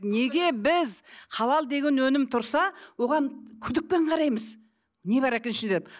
неге біз халал деген өнім тұрса оған күдікпен қараймыз не бар екен ішінде деп